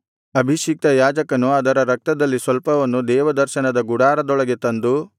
ಅಭಿಷಿಕ್ತ ಯಾಜಕನು ಅದರ ರಕ್ತದಲ್ಲಿ ಸ್ವಲ್ಪವನ್ನು ದೇವದರ್ಶನ ಗುಡಾರದೊಳಗೆ ತಂದು